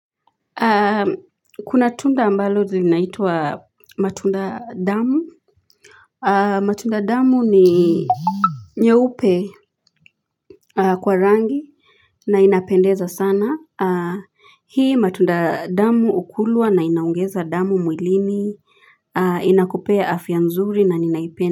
Kuna tunda ambalo linaitwa matunda damu matunda damu ni nyeupe kwa rangi na inapendeza sana hii matunda damu ukulwa na inaongeza damu mwilini inakupea afya nzuri na ninaipene.